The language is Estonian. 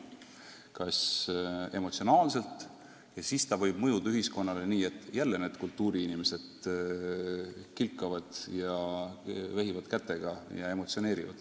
Seda saab teha emotsionaalselt ja siis võib see mõjuda ühiskonnale sõnumina, et jälle need kultuuriinimesed kilkavad ja vehivad kätega ja emotsioonitsevad.